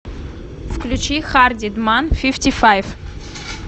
включи харди дман фифти файв